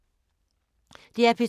DR P2